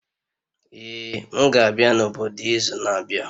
Ee, m ga-abịa n'obodo izu na-abịa